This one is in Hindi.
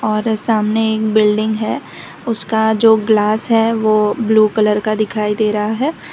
और सामने एक बिल्डिंग है उसका जो ग्लास है वो ब्लू कलर का दिखाई दे रहा है।